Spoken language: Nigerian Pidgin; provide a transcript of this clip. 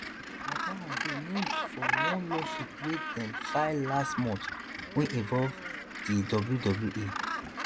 mcmahon dey named for one lawsuit wey dem file last month wey involve di wwe